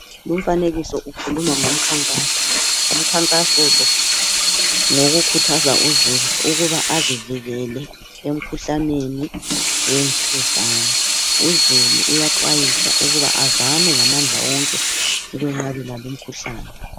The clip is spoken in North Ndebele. Lumfanekiso lo ukhuluma ngomkhankaso umkhankaso lo ngowoku khuthaza uzulu ukuba azivikele emkhuhlameni wemvukuzane ,uzuulu uyaxwayiswa ukuba azame ngamandla wonke ukunqabela lo mkhuhlane.